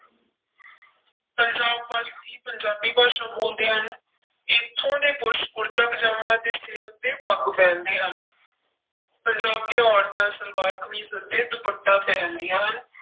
ਪੰਜਾਬ ਵਾਸੀ ਪੰਜਾਬੀ ਭਾਸ਼ਾ ਬੋਲਦੇ ਹਨ, ਇੱਥੋਂ ਦੇ ਪੁਰਸ਼ ਕੁੜਤਾ ਪਜਾਮਾ ਅਤੇ ਸਿਰ ਉੱਤੇ ਪੱਗ ਪਹਿਨਦੇ ਹਨ ਪੰਜਾਬ ਦੀਆਂ ਔਰਤਾਂ ਸਲਵਾਰ ਕਮੀਜ਼ ਅਤੇ ਦੁਪੱਟਾ ਪਹਿਨਦੀਆਂ ਹਨ।